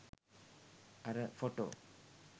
අර ෆොටෝ?